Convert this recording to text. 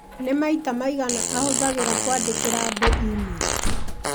nĩ maita maigana ahũthagĩra kwandĩkĩra andũ e-mail